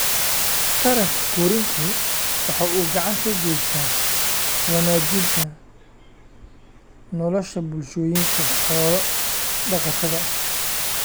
Taranka koriinku waxa uu gacan ka geystaa wanaajinta nolosha bulshooyinka xoolo-dhaqatada ah.